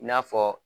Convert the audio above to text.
I n'a fɔ